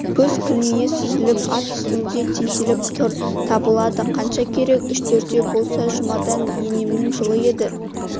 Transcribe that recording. көз кілмие сүзіліп ат үстінде теңселіп тұр табылады қанша керек үш-төртеу болса жұмада енемнің жылы еді